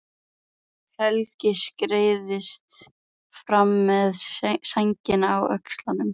Helgi skreiðist fram með sængina á öxlunum.